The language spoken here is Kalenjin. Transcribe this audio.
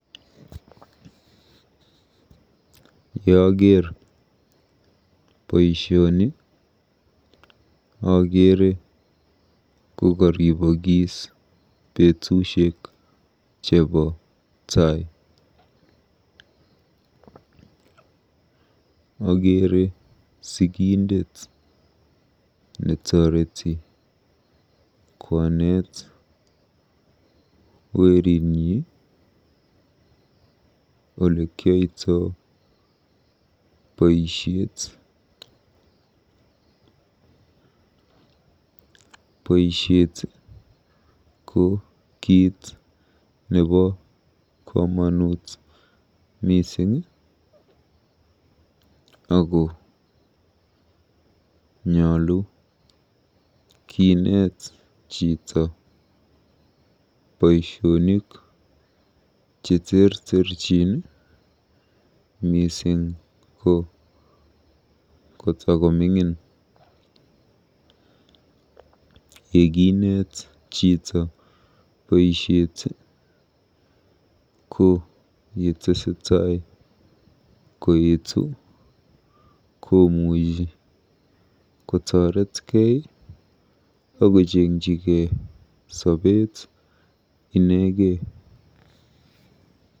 Yeaker boisioni akeere kokoribokis betusiek chebo taai.. Okeere sikindet netoreti koneet weritnyi olekiyoito boisiet. Boisiet ko kiit nebo komonut mising ako nyolu kineet chito boisionik cheterterchin mising ko kotakoming'in. Yekinet chito boisiet ko yetesetai koetu komuchi kotoretkei akojengjigei sobeet inegei.